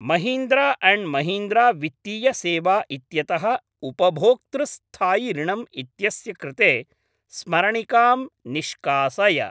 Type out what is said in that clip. Mahindra and Mahindra वित्तीय सेवा इत्यतः उपभोक्तृ स्थायि ऋणम् इत्यस्य कृते स्मरणिकां निष्कासय।।